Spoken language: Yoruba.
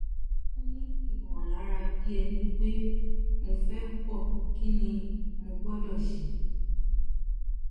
mo tún ní ìmọ̀lára bí ẹni pé mo fẹ́ pọ̀ kí ni mo gbọdọ̀ ṣe